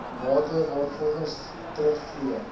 mate waarvolgens terugvloeiing